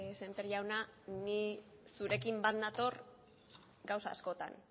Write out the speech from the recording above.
sémper jauna ni zurekin bat nator gauza askotan